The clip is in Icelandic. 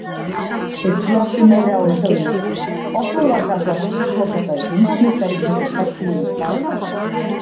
Þeir glottu meira og sögðu: Okkur var sagt að þessi svokallaði heimsmeistari héti Hreggviður Barðason.